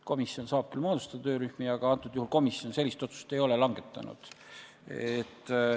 Komisjon saab küll moodustada töörühmi, aga antud juhul komisjon sellist otsust ei ole langetanud.